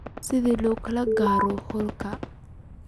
sida loo gaaro hoolka